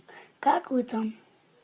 как вы там